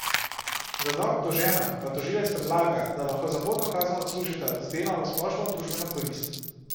Za dva obdolžena pa tožilec predlaga, da lahko zaporno kazen odslužita z delom v splošno družbeno korist.